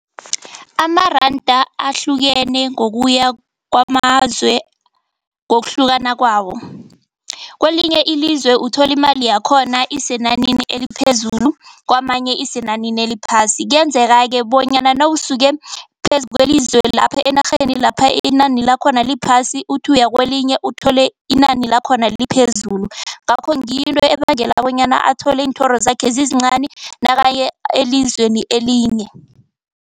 Amaranda ahlukene ngokuya kwamazwe ngokuhlukana kwawo. Kwelinye ilizwe uthola imali yakhona isenanini eliphezulu, kwamanye isenanini eliphasi. Kuyenzeka-ke bonyana nawusuke phezu kelizwe lapha enarheni lapha inani lakhona liphasi. Uthi uya kwelinye uthole inani lakhona liphezulu. Ngakho ngiyo into ebangela bonyana athole iinthoro zakhe zizincani nakaya elizweni elinye.